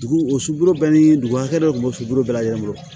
Dugu o sukoro bɛɛ ni dugu hakɛ dɔ de tun bɛ sulu bɛɛ lajɛlen bolo